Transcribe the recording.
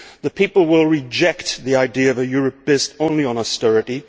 The people will reject the idea of a Europe based only on austerity.